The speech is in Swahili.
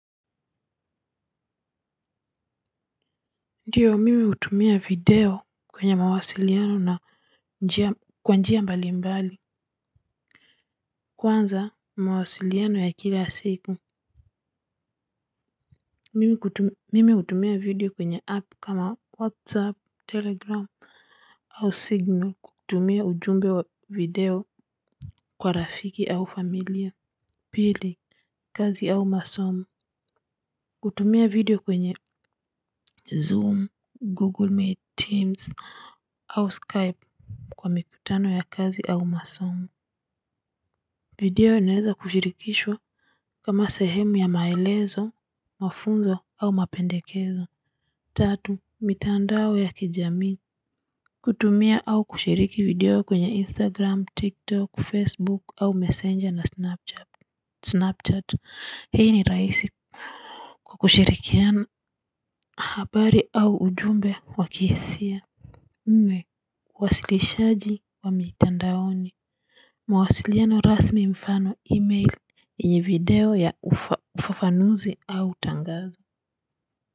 Ndiyo mimi hutumia video kwenye mawasiliano na njia kwa njia mbalimbali kwanza mawasiliano ya kila siku mimi hutumia video kwenye app kama whatsapp, telegram au signal kutumia ujumbe wa video kwa rafiki au familia pili, kazi au masomo hutumia video kwenye zoom, google meet teams au skype kwa mikutano ya kazi au masomo video inaweza kushirikishwa kama sehemu ya maelezo, mafunzo au mapendekezo tatu, mitandao ya kijamii kutumia au kushiriki video kwenye instagram, tiktok, facebook au messenger na snapchat hii ni rahisi kwa kushirikiana habari au ujumbe wakihisia. Nne uwasilishaji wa mitandaoni mawasiliano rasmi mfano, email yenye video ya ufafanuzi au tangazo.